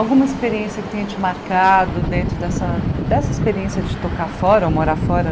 Alguma experiência que tenha te marcado dentro dessa dessa experiência de tocar fora, ou morar fora?